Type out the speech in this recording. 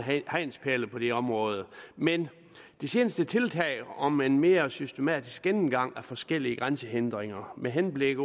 hegnspæle på det område men de seneste tiltag om en mere systematisk gennemgang af forskellige grænsehindringer med henblik